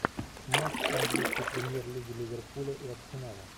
матч английской премьер лиги ливерпуля и арсенала